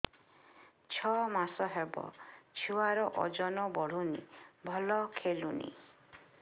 ଛଅ ମାସ ହବ ଛୁଆର ଓଜନ ବଢୁନି ଭଲ ଖେଳୁନି